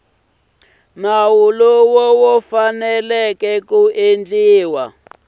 lowu wu faneleke ku endliwa